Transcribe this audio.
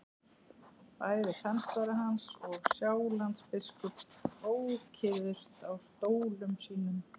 Bæði kanslari hans og Sjálandsbiskup ókyrrðust á stólum sínum.